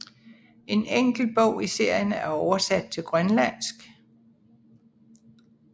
En enkelt bog i serien er oversat til grønlandsk